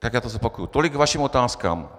Tak já to zopakuju: "Tolik k vašim otázkám.